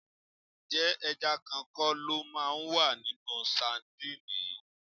Ǹjẹ́ ẹja kan kọ́ lo máa wà nínú sadíìnì yìí?